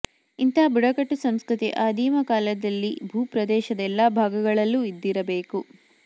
ಇಂತಹ ಬುಡಕಟ್ಟು ಸಂಸ್ಕೃತಿ ಆದಿಮ ಕಾಲದಲ್ಲಿ ಭೂ ಪ್ರದೇಶದ ಎಲ್ಲಾ ಭಾಗಗಳಲ್ಲೂ ಇದ್ದಿರಲೇಬೇಕು